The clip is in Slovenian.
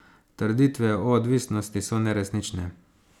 Trditve o odvisnosti so neresnične.